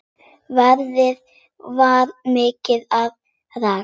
Veðrið var milt og rakt.